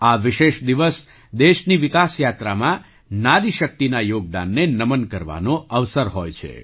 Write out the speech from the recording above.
આ વિશેષ દિવસ દેશની વિકાસ યાત્રામાં નારી શક્તિના યોગદાનને નમન કરવાનો અવસર હોય છે